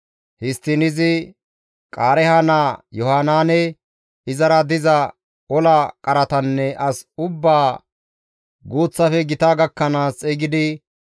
Histtiin izi Qaareeha naa Yohanaane, izara diza ola qaratanne as ubbaa guuththafe gita gakkanaas xeygidi,